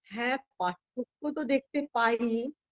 হ্যাঁ পার্থক্য তো দেখতে পাইই